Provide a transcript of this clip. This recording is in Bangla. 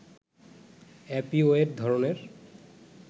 অপিওয়েড ধরনের